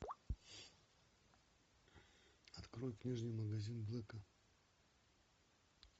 открой книжный магазин блэка